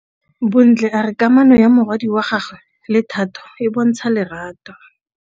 Bontle a re kamanô ya morwadi wa gagwe le Thato e bontsha lerato.